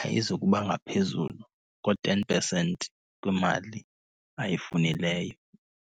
ayizukuba ngaphezulu ko-ten percent kwimali ayifunileyo.